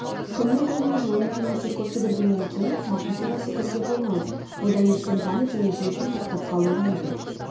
күннің көзіне жылынып немесе көп жүгіргеннен кейін салқын суға секіруге болмайды одан естен танып және жүректің тоқтап қалуы мүмкін